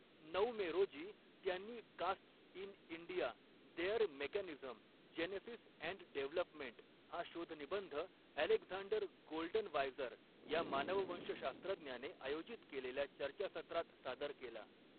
नऊ मे रोजी त्यांनी 'castes in India, their mechanism, genesis and development' हा शोधनिबंध अलेक्झांडर गोल्डनवायजर या मानववंशशास्त्रज्ञाने आयोजित केलेल्या चर्चासत्रात सादर केला.